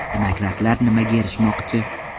Demokratlar nimaga erishmoqchi?